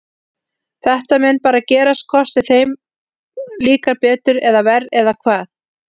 Þetta mun bara gerast hvort sem þeir, þeim líkar betur eða verr eða hvað?